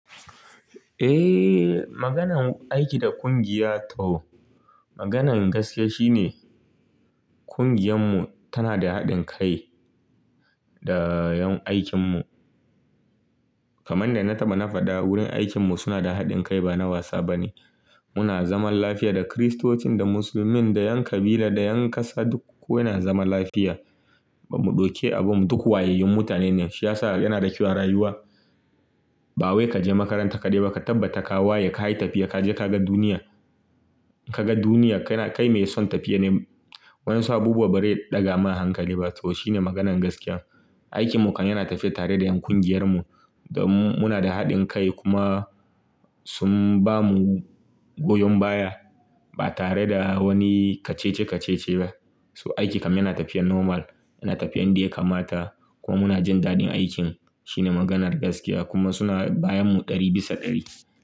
Eh, maganan aiki da kungiya to maganan gaskiya shine kungiyan mu tana da haɗin kai da yan aikin mu. Kaman da na taɓa na faɗa wurin aikin mu suna da haɗin kai ba na wasa bane. Muna zaman lafiya da Kiristocin, da Musulmin, da yan kabila, da yan ƙasa duk ko na zama lafiya. Ba mu ɗauke abu mu duk wayayyun mutane ne. Shi ya sa yanada kyau a rayuwa. Ba wai ka je makaranta kadai ba, ka tabbata ka waye, ka yi tafiya ka je ka ga duniya. Ka ga duniya, kai mai son tafiya ne. Wa'ensu abubuwan ba re ɗaga ma hankali ba to shine maganan gaskiya. Aikin mu kam yana tafiya tare da yan kungiyar mu. Domin muna da haɗin kai kuma sun bamu goyon baya ba tare da wani kacice-kacice ba. To aiki kam yana tafiya normal, yana tafiya yan da ya kamata kuma muna jin daɗin aikin. Shi ne maganar gaskiya kuma suna bayan mu ɗari bisa ɗari.